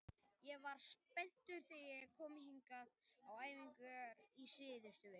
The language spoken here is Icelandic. Ég var spenntur þegar ég kom hingað á æfingar í síðustu viku.